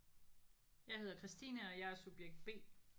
Jeg hedder Kristine og jeg er subjekt B